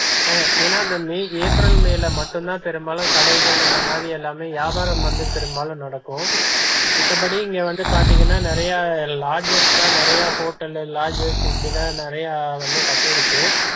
ஏன்னா இந்த May April, மேல மட்டும் தா பெரும்பாலும் கடைகள் இந்த மாதிரி எல்லாமே வியாபாரம் வந்து பெரும்பாலும் நடக்கும் மித்தபடி இங்க வந்து பாத்தீங்கன்னா நெறையா lodges தான் நெறையா hotel, lodges இப்படி தா நிறைய வந்து கட்டிருக்கு